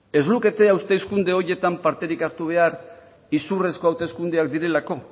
ez lukete hauteskunde horietan parterik hartu behar iruzurrezko hauteskundeak direlako